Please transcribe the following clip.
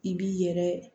I b'i yɛrɛ